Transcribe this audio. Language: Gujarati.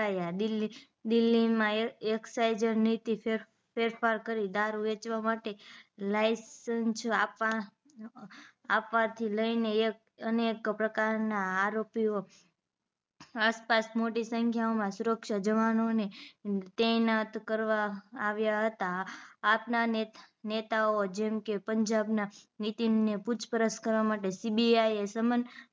આસપાસ મોટી સંખ્યા માં સુરક્ષા જવાનો ને તેનાત કરવા આવ્યા હતા આપ ના નેતાઓ જેવા કે પંજાબ ના નીતીન ને પૂછપરછ કરવા માટે CBI એ સમન